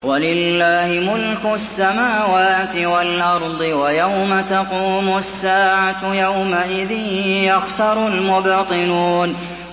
وَلِلَّهِ مُلْكُ السَّمَاوَاتِ وَالْأَرْضِ ۚ وَيَوْمَ تَقُومُ السَّاعَةُ يَوْمَئِذٍ يَخْسَرُ الْمُبْطِلُونَ